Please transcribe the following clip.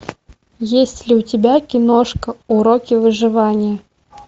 есть ли у тебя киношка уроки выживания